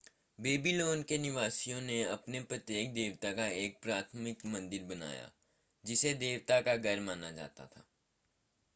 Babylon के निवासियों ने अपने प्रत्येक देवता का एक प्राथमिक मंदिर बनाया जिसे देवता का घर माना जाता था